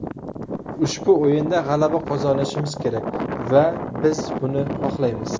Ushbu o‘yinda g‘alaba qozonishimiz kerak va biz buni xohlaymiz.